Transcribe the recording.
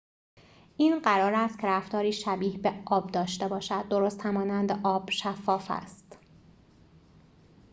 این قرار است که رفتاری شبیه به آب داشته باشد درست همانند آب شفاف است